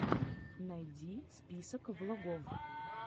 найди список влогов